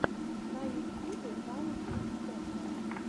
на ютьюбе камеди централ